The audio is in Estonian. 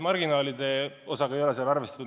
Marginaali osaga ei ole seal arvestatud.